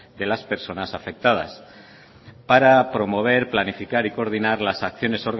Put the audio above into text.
de las personas afectadas para promover planificar y coordinar las acciones